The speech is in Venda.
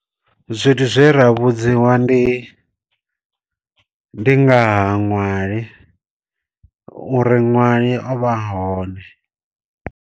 Zwithu zwe ra vhudziwa ndi ndi ngaha ṅwali, u ri ṅwali o vha a hone.